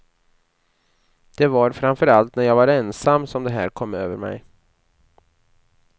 Det var framför allt när jag var ensam som det här kom över mig.